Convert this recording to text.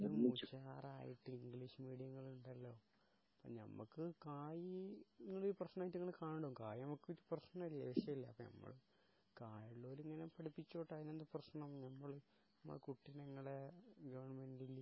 ഇതിലും ഉഷാറായിട്ട് ഇംഗ്ലീഷ് മീഡിയങ്ങളുണ്ടല്ലോ ഞമ്മക്ക് കായി നിങ്ങളീ പ്രശ്നമായിട്ട് ഇങ്ങള് കാണും കായ് ഞമ്മക്ക് പ്രശ്നമില്ല വിഷയമില്ല അപ്പോ ഞമ്മള് കായ് ഉള്ളോല് ഇങ്ങനെ പടിപ്പിച്ചോട്ടെ അതിനെന്താ പ്രശ്നം ഞമ്മളെ കുട്ടീനെ ഇങ്ങള് ഗവൺമെന്റ് ല്